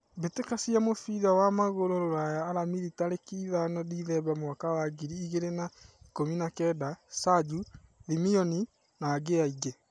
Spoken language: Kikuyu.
Mbĩtĩka cia mũbira wa magũrũ Ruraya Aramithi tarĩki ithano Dithemba mwaka wa ngiri igĩrĩ na ikũmi na kenda: Sajũ , Thimioni na angĩ aingĩ.